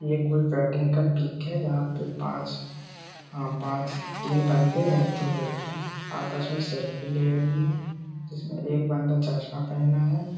ये कोई का पिक है जहां पे पाँच हाँ पाँच तीन बन्दे है दो लड़कियाँ है। आपस में सेल्फी ले रही हैं जिसमें एक बन्दा चश्मा पेहना है।